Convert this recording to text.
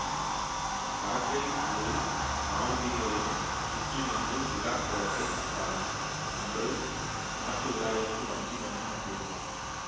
பறக்கை ஊரில் நாலுவீதிகளிலும் சுற்றி நின்று விழாக்கோலத்தைக் கண்டாள் அன்று நாட்டு விழாவிற்கு வஞ்சி மன்னனும் வந்திருந்தான்